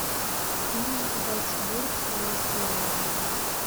фильм зальцбургская история найди